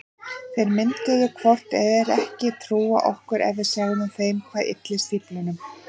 Þeir myndu hvort eð er ekki trúa okkur ef við segðum þeim hvað ylli stíflunum.